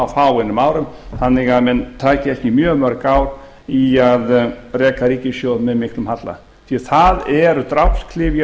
fáeinum árum þannig að menn taki ekki mjög mörg ár í að reka ríkissjóð með miklum halla því að það eru drápsklyfjar